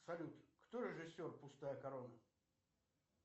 салют кто режиссер пустая корона